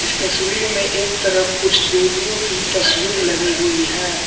तस्वीर में एक तरफ कुछ देवियों की तस्वीर लगी हुई है।